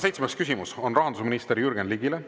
Seitsmes küsimus on rahandusminister Jürgen Ligile.